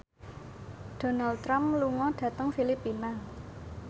Donald Trump lunga dhateng Filipina